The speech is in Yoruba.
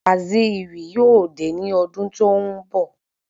Waziri yóò dé ní ọdún tó n bọ